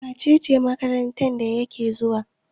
wacece makaranta yake zuwa?